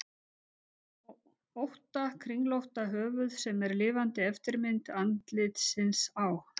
ótta kringlótta höfuð sem er lifandi eftirmynd andlitsins á